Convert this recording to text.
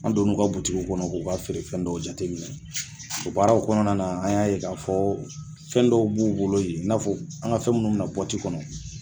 An donn'u ka butigiw kɔnɔ k'o ka feere fɛn dɔw jateminɛ, o baaraw kɔnɔna na an y'a ye k'a fɔ fɛn dɔw b'u bolo yen, i n'a fɔ an ka fɛn minnu bɛ na bɔti kɔnɔ